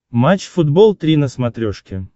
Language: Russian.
матч футбол три на смотрешке